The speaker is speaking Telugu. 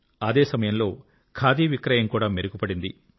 అదే సమయంలో ఖాదీ విక్రయం కూడా మెరుగు పడింది